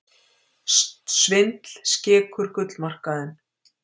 Svindl skekur gullmarkaðinn